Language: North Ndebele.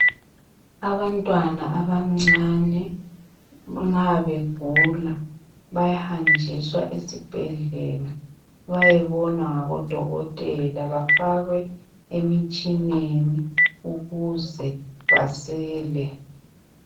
Abantwana abancane nxa begula bayahanjiswa esibhedlela bayebonwa ngabodokotela bafakwe emitshineni ukuze basile.